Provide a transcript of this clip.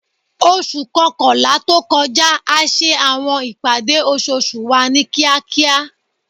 Oṣu kọkanla to kọja a ṣe awọn ipade oṣooṣu wa ni kiakia